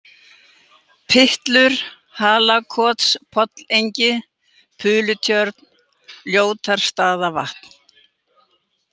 Pyttlur, Halakotspollengi, Pulutjörn, Ljótarstaðavatn